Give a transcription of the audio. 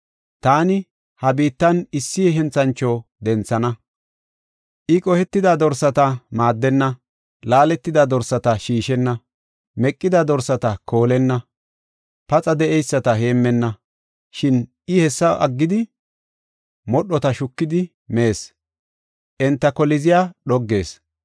Taani ha biittan issi henthancho denthana. I qohetida dorsata maaddenna; laaletida dorsata shiishenna; meqida dorsata koolenna; paxa de7eyisata heemmenna. Shin I hessa aggidi, modhota shukidi mees; enta koliziya dhoggees.